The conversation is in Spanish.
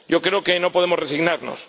Yo creo que no podemos resignarnos.